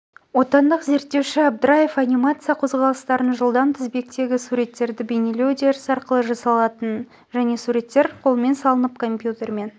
отандық зерттеуші абдраев анимация қозғалыстарын жылдам тізбектегі суреттерді бейнелеу үдерісі арқылы жасалатынын және суреттер қолмен салынып компьютермен